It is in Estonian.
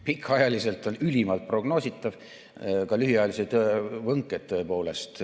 Pikaajaliselt on see ülimalt prognoositav, prognoositavad on tõepoolest ka lühiajalised võnked.